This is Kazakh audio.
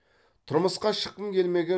тұрмысқа шыққым келмеген